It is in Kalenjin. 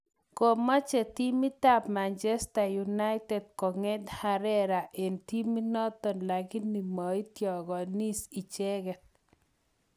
Kameche timitap Manchester united kong'et Herrera eng' timit notok lakini maityikokashin icheket